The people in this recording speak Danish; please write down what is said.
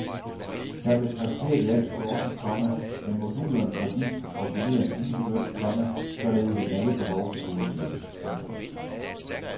Der blev præsenteret i alt fjorten, komma men modulerne fra disse kan kombineres individuelt, komma således at alle behov tilgodeses. punktum